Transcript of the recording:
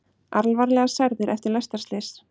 Alvarlega særðir eftir lestarslys